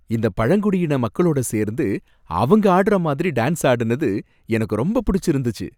இந்தப் பழங்குடியின மக்களோட சேர்ந்து அவங்க ஆடுற மாதிரி டான்ஸ் ஆடினது எனக்கு ரொம்ப புடிச்சிருந்துச்சு.